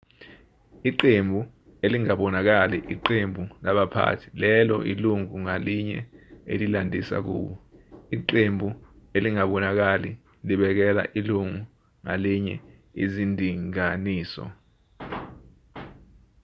iqembu elingabonakali iqembu labaphathi lelo ilungu ngalinye elilandisa kubo iqembu elingabonakali libekela ilungu ngalinye izindinganiso